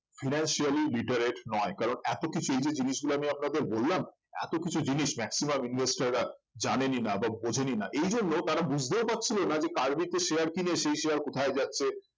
financially literate নয় কারণ এত কিছু এই যে জিনিসগুলো আপনাদের বললাম এত কিছু জিনিস maximum investor রা জানেনই না বা বোঝেনই না এই জন্য তারা বুঝতেও পারছিলো না যে কার্ভিতে share কিনে সেই share কোথায় যাচ্ছে